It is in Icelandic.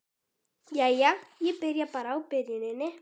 Jæja, ég byrja bara á byrjuninni.